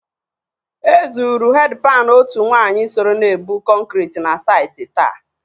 E zụrụ hedpani otu nwaanyị soro na-ebụ kọnkrị na sati taa.